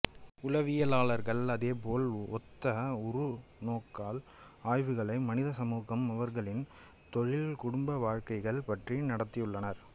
உளவியலாளர்கள் அதேபோல் ஒத்த உற்றுநோக்கல் ஆய்வுகளை மனித சமூகம் அவர்களின் தொழில் குடும்ப வாழ்க்கைகள் பற்றி நடத்தியுள்ளனர்